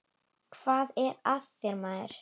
Hvað er að þér, maður?